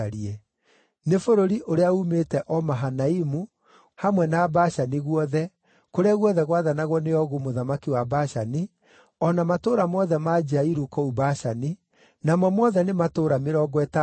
Nĩ bũrũri ũrĩa uumĩte o Mahanaimu, hamwe na Bashani guothe, kũrĩa guothe gwathanagwo nĩ Ogu mũthamaki wa Bashani, o na matũũra mothe ma Jairu kũu Bashani, namo mothe nĩ matũũra mĩrongo ĩtandatũ,